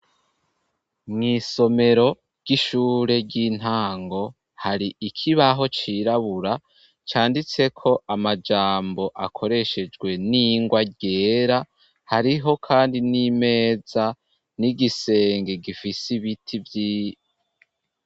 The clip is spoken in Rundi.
Mw'isomero ry'ishure ry'intango, hari ikibaho c'irabura canditseko amajambo akoreshejwe n'ingwa ryera, hariho kandi n'imeza, igisenge gifise ibiti vyinshi.